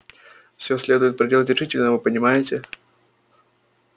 все следует проделать решительно вы понимаете